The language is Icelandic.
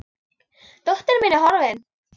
Dóttir mín er horfin.